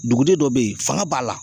Duguden dɔ be ye fanga b'a la